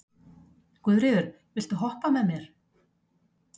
Guðfríður, viltu hoppa með mér?